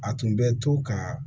A tun bɛ to ka